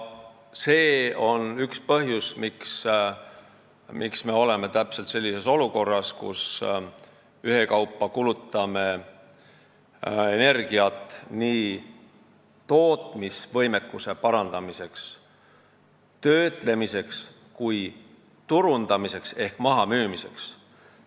See on üks põhjus, miks me oleme täpselt sellises olukorras, kus me ühekaupa kulutame energiat nii tootmisvõimekuse parandamiseks, töötlemiseks kui turundamiseks ehk mahamüümiseks.